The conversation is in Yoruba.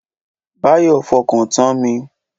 Báyọ̀ fọkàn tan mi